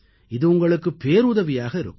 இது உங்களுக்குப் பேருதவியாக இருக்கும்